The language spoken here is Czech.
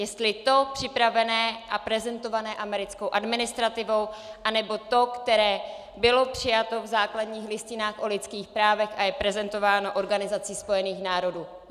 Jestli to připravené a prezentované americkou administrativou, anebo to, které bylo přijato v základních listinách o lidských právech, a je prezentováno Organizací spojených národů.